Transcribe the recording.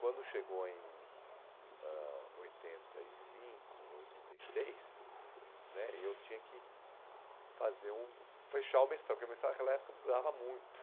Quando chegou em ãh oitenta e cinco, oitenta e seis, né, eu tinha que fazer o fechar o mestrado, porque o mestrado naquela época durava muito.